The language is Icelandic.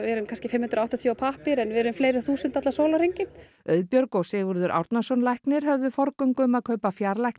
erum kannski fimm hundruð og áttatíu á pappír en við erum fleiri þúsund allan sólarhringinn Auðbjörg og Sigurður Árnason læknir höfðu forgöngu um að kaupa